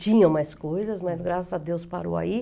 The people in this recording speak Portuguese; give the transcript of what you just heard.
Tinha mais coisas, mas graças a Deus parou aí.